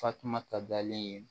Fatumata dalen ye